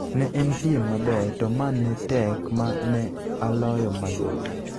"Ne en piem maber to ma ne tek, ma ne aloyo mayot.